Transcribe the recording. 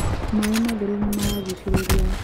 maaĩ matheru nĩmaragucĩrĩria